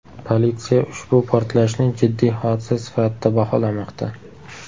Politsiya ushbu portlashni jiddiy hodisa sifatida baholamoqda.